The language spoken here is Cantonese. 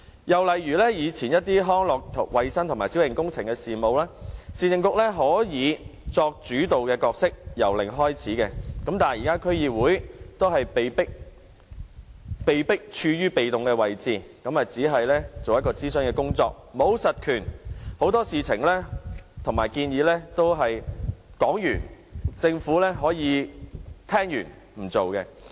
又以康樂、衞生、小型工程等事務為例，以往市政局可作主導角色，由零開始，但現在區議會卻被迫處於被動位置，只能進行諮詢工作，沒有實權，對很多事情和建議也只可以提出意見，政府聽完也可以不實行。